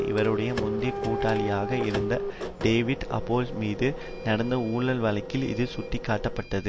இவருடைய முந்தைய கூட்டாளியாக இருந்த டேவிட் ஆபேல் மீது நடந்த ஊழல் வழக்கில் இது சுட்டி காட்டப்பட்டது